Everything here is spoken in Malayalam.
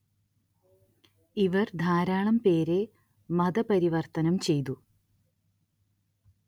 ഇവര്‍ ധാരാളം പേരെ മത പരിവര്‍ത്തനം ചെയ്തു